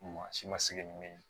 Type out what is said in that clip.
Maa si ma se nin min ye